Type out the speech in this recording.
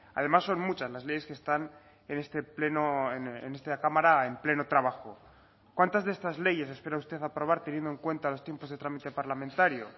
además son muchas las leyes que están en este pleno en esta cámara en pleno trabajo cuántas de estas leyes espera usted aprobar teniendo en cuenta los tiempos de trámite parlamentario